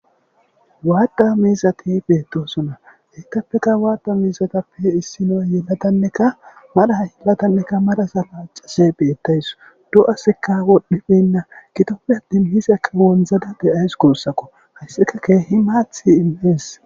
Maaththa miizzathi beeththoosona; heethappekka maaththa miizathappe issinoy yeladanneka mara yeladanneka maraza laaccishe beeththawus; do7azikka wodhdhibeenna; gidoppe aththin mizakka wonzzada de7awus guusakoo; hayssika keehi maaththee immes.